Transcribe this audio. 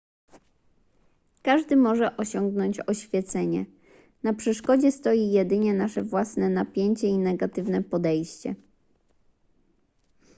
każdy może osiągnąć oświecenie na przeszkodzie stoi jedynie nasze własne napięcie i negatywne podejście